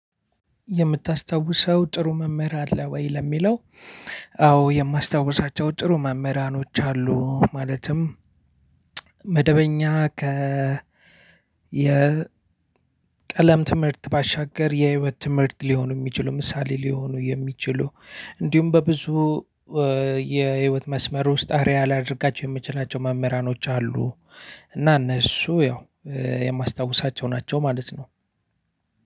የምታስታውሰው ጥሩ መምህር አለ ወይ ለሚለው? አዎ የማስታውሳቸው ጥሩ መምህራኖች አሉ ማለትም። መደበኛ ከ የ ቀለም ትምህርት ባሻገር የህይወት ትምህርት ሊሆኑ የሚችሉ ምሳሌ ሊሆኑ የሚችሉ። እንዲሁም በብዙ የህይወት መስመር ውስጥ አረአያ ላደርጋቸው የምችላቸው መምህራኖች አሉ። እና እነሱ ያው የማስታውሳቸው ናቸው ማለት ነው።